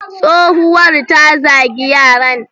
Tsowuwar ta zagi yaran.